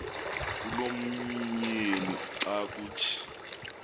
kulomyeni xa kuthi